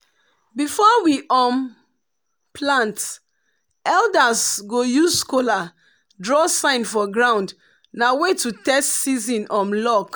before um we plant elders go use kola draw sign for ground na way to test season um luck.